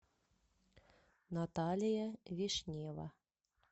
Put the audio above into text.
наталья вишнева